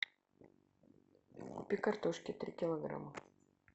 купи картошки три килограмма